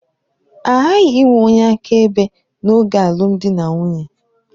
A ghaghị inwe onye akaebe n'oge alụmdi na nwunye.